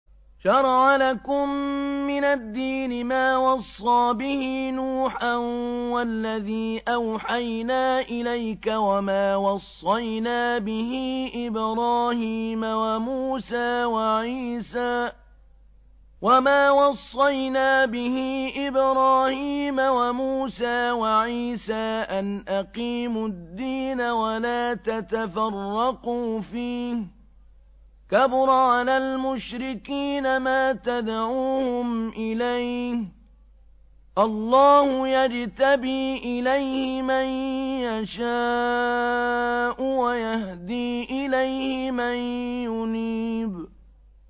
۞ شَرَعَ لَكُم مِّنَ الدِّينِ مَا وَصَّىٰ بِهِ نُوحًا وَالَّذِي أَوْحَيْنَا إِلَيْكَ وَمَا وَصَّيْنَا بِهِ إِبْرَاهِيمَ وَمُوسَىٰ وَعِيسَىٰ ۖ أَنْ أَقِيمُوا الدِّينَ وَلَا تَتَفَرَّقُوا فِيهِ ۚ كَبُرَ عَلَى الْمُشْرِكِينَ مَا تَدْعُوهُمْ إِلَيْهِ ۚ اللَّهُ يَجْتَبِي إِلَيْهِ مَن يَشَاءُ وَيَهْدِي إِلَيْهِ مَن يُنِيبُ